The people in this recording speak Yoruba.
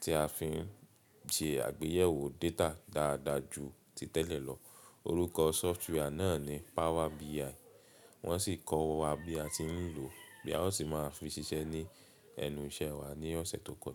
tí a fi ń ṣe àgbéyẹ̀wò data dáadáa jù ti tẹ́lẹ̀ lọ. Orúkọ software náà ni Power BI. Wọ́n sì kọ́ wa bí a ti ń lò ó, bí a ó sì máa fi ṣiṣẹ́ ní ẹnu iṣẹ́ wa ní ọ̀sẹ̀ tó kọjá.